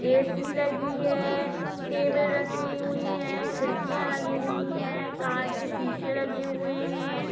ऐसी लगी है। टेबल रखी हुई हैं। खिड़कियां लगी हुई हैं। कांच के शीशे लगे हुऐ हैं।